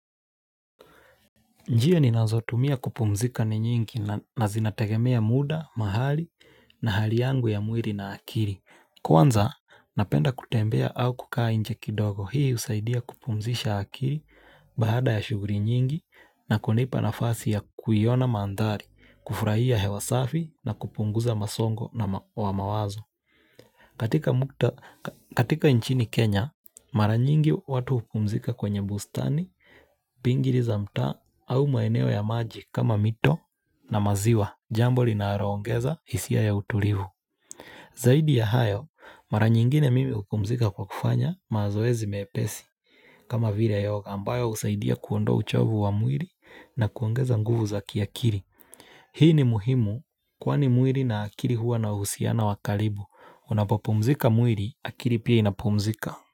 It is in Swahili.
Njia nizo tumia kupumzika ni nyingi na zinategemea muda, mahali na hali yangu ya mwili na akili. Kwanza, napenda kutembea au kukaa nje kidogo. Hii usaidia kupumzisha akili baada ya shuguli nyingi na kunipa nafasi ya kuiona mandhari, kufurahia hewa safi na kupunguza masongo na wa mawazo. Katika nchini Kenya, mara nyingi watu hupumzika kwenye bustani, bingiri za mta, au maeneo ya maji kama mito na maziwa, jambo linaloongeza hisia ya utulivu. Zaidi ya hayo, mara nyingine mimi hupumzika kwa kufanya mazoezi mepesi kama vile yoga ambayo usaidia kuondoa uchovu wa mwili na kuongeza nguvu za kiakili. Hii ni muhimu kwani mwili na akili huwa na uhusiano wa karibu Unapopumzika mwili akili pia inapumzika.